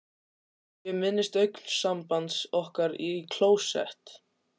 Ég minnist augnsambands okkar í klósett